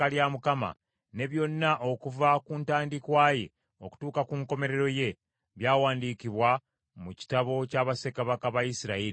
ne byonna okuva ku ntandikwa ye okutuuka ku nkomerero ye, byawandiikibwa mu kitabo kya bassekabaka ba Isirayiri ne Yuda.